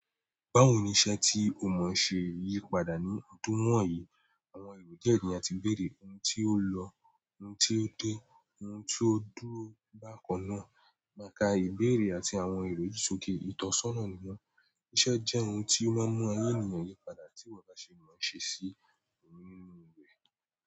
Báwo ni iṣẹ́ tí o mọ̀ ṣe yípadà ní ọdún wọ̀nyí àwọn èrò diẹ ni àti ìbéèrè ohun tí ó lọ ohun tí ó dé ohun tí ó dúró bákan náà máka ìbéèrè àti àwọn èrò yi sókè ìtọ́sọ́nà nìwọn, iṣẹ́ jẹ́ ohun tí wọ́n mú ayé ènìyàn yípadà tí iwọ bá ṣe mọ́ ṣe sí nínú rẹ.